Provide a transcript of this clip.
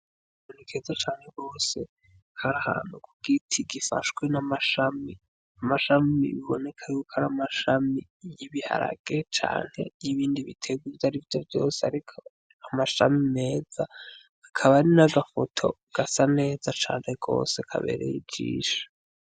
Menekeza cane bose harahana, kuko iti gifashwe n'amashmiamashami biboneka yuko ari amashami y'ibiharage canke y'ibindi bitegu zi ari vyo vyose, ariko amashami meza akaba ari n'agafoto gasa neza cane kose kabereyijisha.